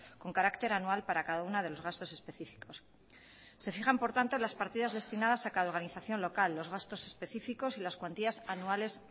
con carácter anual para cada uno de los gastos específicos se fijan por tanto las partidas destinadas a cada organización local los gastos específicos y las cuantías anuales